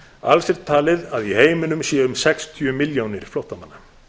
alls er talið að í heiminum séu um sextíu milljónir flóttamanna